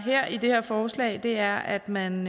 i det her forslag er at man